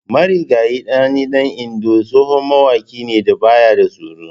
Marigayi Sani dan Indo tsohon mawaƙi ne da baya da tsoro.